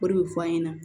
O de bɛ fɔ an ɲɛna